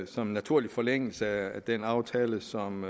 som en naturlig forlængelse af den aftale som